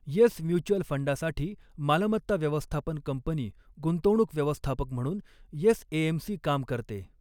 Yes mutual फ़ंडासाठी मालमत्ता व्यवस्थापन कंपनी गुंतवणूक व्यवस्थापक म्हणून येस एएमसी काम करते.